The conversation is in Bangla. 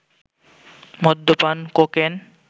মদ্যপান, কোকেন